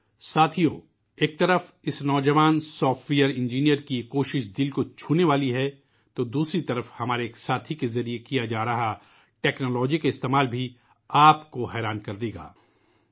ساتھیو ، ایک طرف اس نوجوان سافٹ ویئر انجینئر کی یہ کوشش دل کو چھو لینے والی ہے ، دوسری طرف ہمارے ایک اور ساتھی کے ذریعہ ٹیکنالوجی کا استعمال بھی آپ کو تعجب کرنے پر مجبور کرے گا